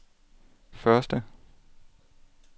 første